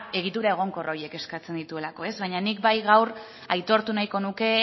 egitura egonkor horiek eskatzen dituelako baina nik bai gaur aitortu nahiko nuke